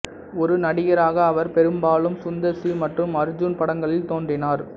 ஒரு நடிகராக அவர் பெரும்பாலும் சுந்தர் சி மற்றும் அர்ஜுன் படங்களில் தோன்றினார்